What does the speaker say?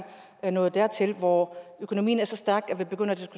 er nået dertil hvor økonomien er så stærk